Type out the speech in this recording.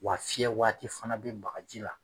Wa fiyɛ waati fana bɛ bagaji la